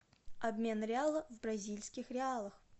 обмен реала в бразильских реалах